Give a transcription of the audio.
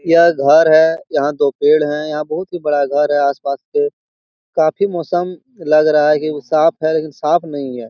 यह घर है यहाँ दो पेड़ है यहाँ बहुत ही बड़ा घर है आस पास के काफी मौसम लग रहा है कि वो साफ़ है लेकिन साफ़ नहीं है।